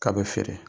K'a bɛ feere